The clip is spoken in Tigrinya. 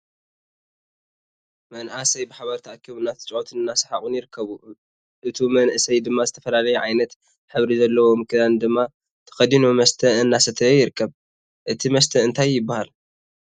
መንኣሰይ ብሓባር ተኣኪቦም እንተጫወቱን እናሰሓቁን ይርከቡ። እቶ መንኣሰይ ድማ ዝተፈላለየ ዓይነት ሕብሪ ዘለዎም ክዳን ድማ ተከዲኖ መስተ እናሰተዩ ይርከቡ። እቲ መስተ እንታይ ይባሃ?